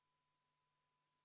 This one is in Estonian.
Head kolleegid!